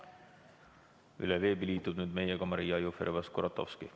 Üle veebi liitub nüüd meiega Maria Jufereva-Skuratovski.